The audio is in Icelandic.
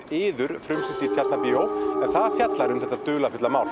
iður frumsýnt í Tjarnarbíó en það fjallar um þetta dularfulla mál